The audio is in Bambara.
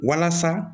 Walasa